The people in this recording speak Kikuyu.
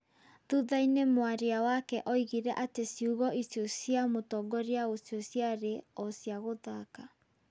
Thutha-inĩ mwaria wake oigire atĩ ciugo icio cia mũtongoria ũcio ciarĩ "o cia gũthaka".